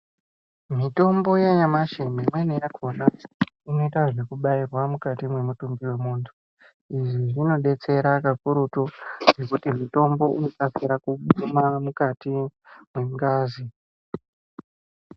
Mitombo yanyamashi imweni yakona inoita zvekubairwa mumutumbi wemunhu. Izvi zvinodetsera kakurutu ngekuti mutombo unokase kuguma mukati mwengazi.